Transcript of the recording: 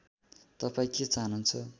तपाईँ के चाहनुहुन्छ